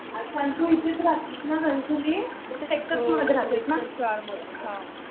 अच्छा. आणि तू इथेच राहतोस ना गं. घणसोली सेक्टर्स मध्ये राहते ना.